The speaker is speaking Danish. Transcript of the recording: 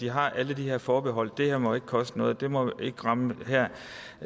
har alle de her forbehold det her må ikke koste noget det må ikke ramme hér